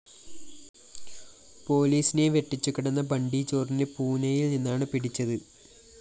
പോലീസിനെ വെട്ടിച്ചു കടന്ന ബണ്ടി ചോറിനെ പൂനെയില്‍ നിന്നാണ് പിടിച്ചത്